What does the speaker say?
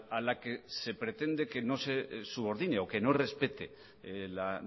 a la que se pretende que no se subordine o que no respete la